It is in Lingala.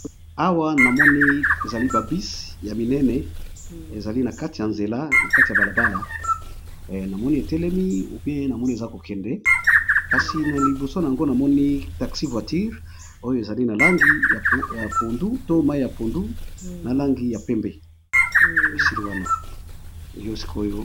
Awa namoni ezali babisi ya minene ezali na kati ya nzela na kati ya balabala namoni etelemi pe namoni eza kokende kasi na liboso yango namoni taxi voitire oyo ezali na langi ya pondu, to mai ya pondu na langi ya pembe, esili wana yo sikoyo.